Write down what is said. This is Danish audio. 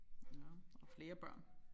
Ja og flere børn